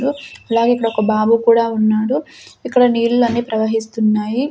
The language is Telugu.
అలాగే ఇక్కడ ఒక బాబు కూడా ఉన్నాడు ఇక్కడ నీళ్లు అన్నీ ప్రవహిస్తున్నాయి.